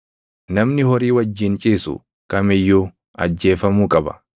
“Namni horii wajjin ciisu kam iyyuu ajjeefamuu qaba.